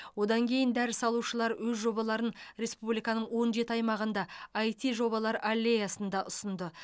одан кейін дәріс алушылар өз жобаларын республиканың он жеті аймағында іт жобалар аллеясында ұсынды